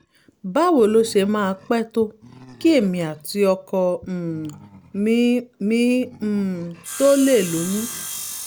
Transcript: báwo ló ṣe máa pẹ́ tó kí èmi àti ọkọ um mi mi um tó lè lóyún?